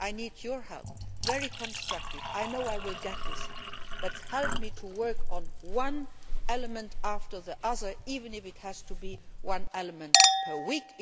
I need your very constructive help. I know I will get this help but help me to work on one element after the other, even if it has to be one element per